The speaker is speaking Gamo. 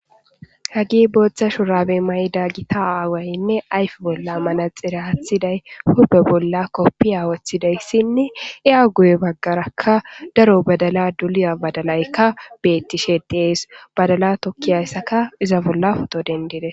hagi booththa shuraabe mayda gita aawaynne ayfe bolla manaxire athiday hube bolla koppi awathidayssinne i7a guye baggarakka daro badala duliya badalaykka bettishe deees badala tokkiyayssaka iza bolla futo dendire